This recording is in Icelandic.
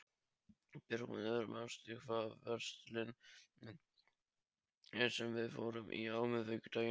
Björgmundur, manstu hvað verslunin hét sem við fórum í á miðvikudaginn?